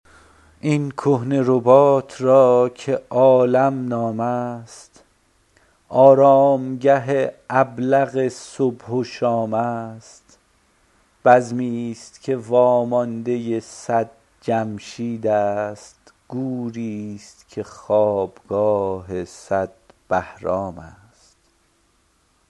این کهنه رباط را که عالم نام است آرامگه ابلق صبح و شام است بزمی ست که وامانده صد جمشید است گوری ست که خوابگاه صد بهرام است